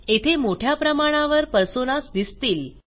येथे मोठ्या प्रमाणावर पर्सोनास दिसतील